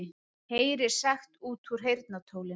Heyrir sagt út úr heyrnartólinu